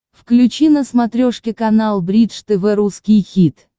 включи на смотрешке канал бридж тв русский хит